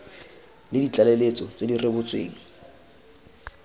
le ditlaleletso tse di rebotsweng